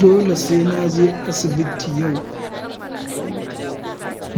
Dole sai na je asibiti yau,